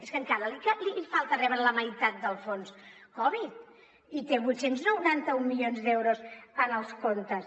és que encara li falta rebre la meitat del fons covid i té vuit cents i noranta un milions d’euros en els comptes